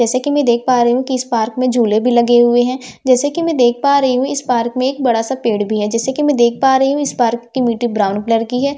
जैसे कि मैं देख पा रही हूं कि इस पार्क में झूले भी लगे हुए हैं जैसे कि मैं देख पा रही हूं इस पार्क में एक बड़ा सा पेड़ भी है जैसे कि मैं देख पा रही हूं इस पार्क की मिट्टी ब्राउन कलर की है।